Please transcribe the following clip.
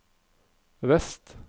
vest